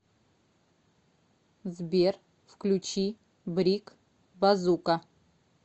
сбер включи брик базука